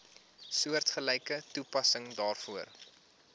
soortgelyke toepassing daarvoor